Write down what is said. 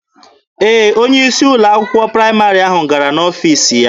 Ee, onye isi ụlọ akwụkwọ praịmarị ahụ gara n'ọfiisi ya.